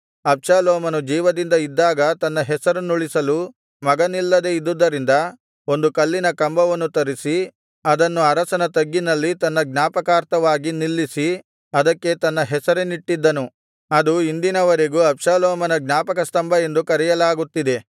ಅಬ್ಷಾಲೋಮನು ಜೀವದಿಂದ ಇದ್ದಾಗ ತನ್ನ ಹೆಸರನ್ನುಳಿಸಲು ಮಗನಿಲ್ಲದೆ ಇದ್ದುದರಿಂದ ಒಂದು ಕಲ್ಲಿನ ಕಂಬವನ್ನು ತರಿಸಿ ಅದನ್ನು ಅರಸನ ತಗ್ಗಿನಲ್ಲಿ ತನ್ನ ಜ್ಞಾಪಕಾರ್ಥವಾಗಿ ನಿಲ್ಲಿಸಿ ಅದಕ್ಕೆ ತನ್ನ ಹೆಸರನ್ನಿಟ್ಟಿದ್ದನು ಅದು ಇಂದಿನ ವರೆಗೂ ಅಬ್ಷಾಲೋಮನ ಜ್ಞಾಪಕಸ್ತಂಭ ಎಂದು ಕರೆಯಲಾಗುತ್ತಿದೆ